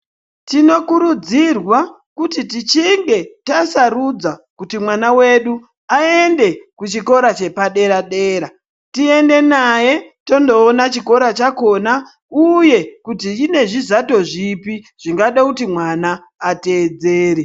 Tinokurudzirwa kuti tichinge tasarudza kuti mwana wedu aende kuchikora chepadera dera ,toenda naye tondoona kuti kune zvizato zviri zvinoda kuti mwana ateedzere.